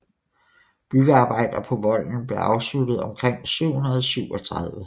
Byggearbejder på volden blev afsluttet omkring 737